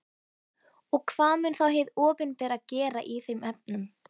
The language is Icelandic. Og hvað mun þá hið opinbera gera í þeim efnum?